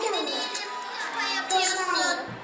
Nə tez qapıya qayıdırsan?